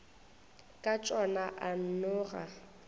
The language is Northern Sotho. ka tšona a nno ga